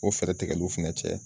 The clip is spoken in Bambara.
O fɛrɛ tigɛliw fɛnɛ cɛ.